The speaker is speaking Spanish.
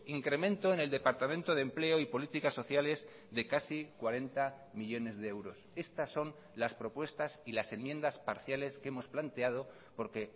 incremento en el departamento de empleo y políticas sociales de casi cuarenta millónes de euros estas son las propuestas y las enmiendas parciales que hemos planteado porque